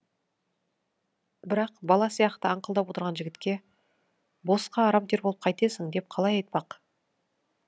бірақ бала сияқты аңқылдап отырған жігітке босқа арам тер болып қайтесің деп қалай айтпақ